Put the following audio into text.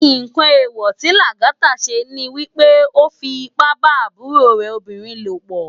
Nkán éwò ti Lagata sé ni wipé ó fi ipá bá àbúró rè óbirin lópò